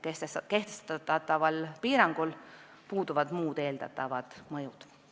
Kehtestataval piirangul puuduvad muud eeldatavad mõjud.